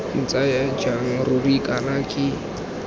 ntsaya jang ruri kana ke